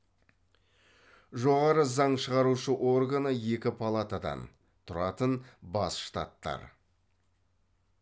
жоғары заң шығарушы органы екі палатадан тұратын бас штаттар